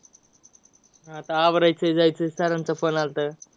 आता हा भरायचंय, जायचं. sir चा phone आलता.